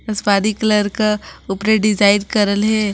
आसपानी colour का उपरे design करल है ।